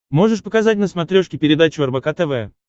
можешь показать на смотрешке передачу рбк тв